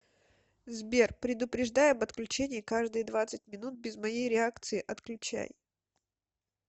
сбер предупреждай об отключении каждые двадцать минут без моей реакции отключай